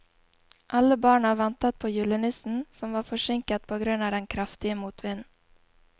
Alle barna ventet på julenissen, som var forsinket på grunn av den kraftige motvinden.